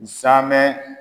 namɛn.